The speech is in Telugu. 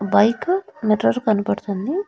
బైకు మిర్రర్ కనపడుతుంది.